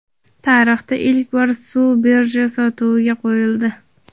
Tarixda ilk bor suv birja sotuviga qo‘yildi.